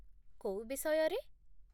କୋଉ ବିଷୟରେ ?